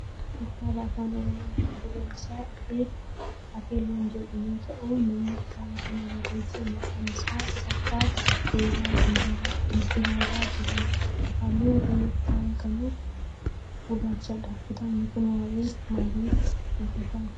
kitaabni kun kitaaba afaan oromoo mata dureen isaa Ate loon jedhu yoo ta'u namni kitaaba kana barreesse maqaan isaa Assaffaa Teeraa Dibaba jedhama. Halluun qola kitaaba kana gurraachadha. kitaabni kun waayee maalii dubata?